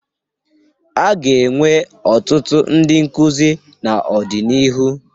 A ga-enwe ọtụtụ ndị nkuzi n'ọdịnihu.